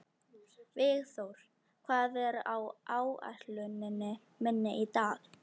Vígþór, hvað er á áætluninni minni í dag?